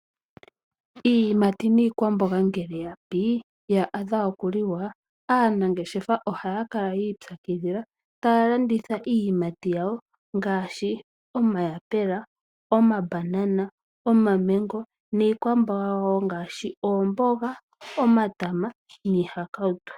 Iiyimati niikwamboga ngele ya pi, ya adha okuliwa. Aanangeshefa ohaya kala ya ipyakidhila. Taya landitha iiyimati yawo ngaashi omayapula, omambanana, omamengo niikwamboga wo ngaashi oomboga, omatama niihakautu.